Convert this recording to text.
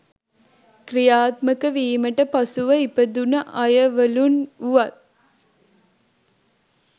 ක්‍රියාත්මක වීමට පසුව ඉපදුන අයවලුන් වුවත්